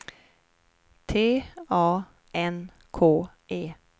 T A N K E